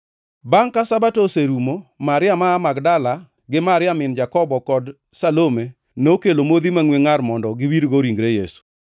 Bangʼ ka Sabato oserumo, Maria ma aa Magdala gi Maria min Jakobo kod Salome nokelo modhi mangʼwe ngʼar mondo giwirgo ringre Yesu.